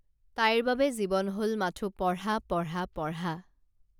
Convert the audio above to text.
তাইৰ বাবে জীৱন হল মাথো পঢ়া পঢ়া পঢ়া